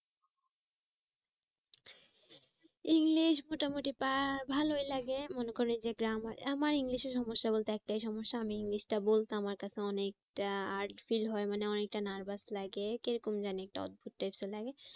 English মোটামুটি ভালোই লাগে মনে করেন যে grammar আমার english এ সমস্যা বলতে একটাই সমস্যা আমি english টা বলতে আমার কাছে অনেকটা heart fill হয় মানে অনেকটা nervous লাগে কি রকম যেন একটা অদ্ভুত types এর লাগে